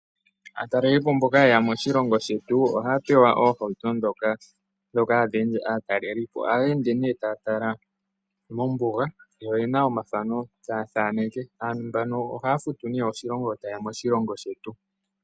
Aatalelipo mboka yeya moshilongo shetu ohaya pewa ohawuto dhoka hadhi ende atalelipo. Ohaya ende ta tala mombuga yo oyena omathano ta thaneke. Aantu mbano ohaya futu ne oshilongo nge tayeya moshilongo shetu.